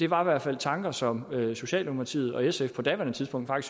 var i hvert fald tanker som socialdemokratiet og sf på daværende tidspunkt